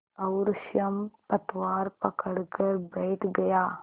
और स्वयं पतवार पकड़कर बैठ गया